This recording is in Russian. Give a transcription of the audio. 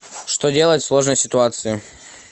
что делать в сложной ситуации